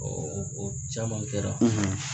o o caman kɛra.